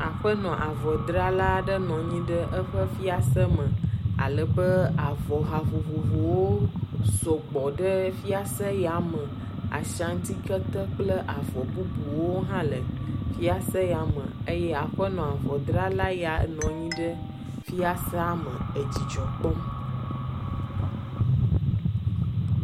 aƒenɔ avɔ drala ɖe nɔnyi ɖe eƒe fiase me alebe avɔ ha vovovowo sɔgbɔ ɖe fiase ya me Ashanti kete kple avɔ bubuwo ha le fiase ya me eye aƒenɔ avɔdrala ya nɔnyi ɖe fiasea me e dzidzɔkpɔm